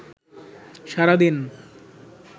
সারা দিন